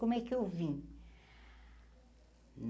Como é que eu vim?